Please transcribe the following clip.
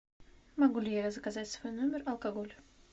могу ли я заказать в свой номер алкоголь